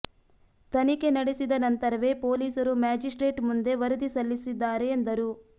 ತನಿಖೆ ನಡೆಸಿದ ನಂತರವೇ ಪೊಲೀಸರು ಮ್ಯಾಜಿಸ್ಟ್ರೇಟ್ ಮುಂದೆ ವರದಿ ಸಲ್ಲಿಸಿದ್ದಾರೆ ಎಂದರು